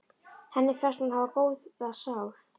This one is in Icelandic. Henni finnst hún hafa góða sál.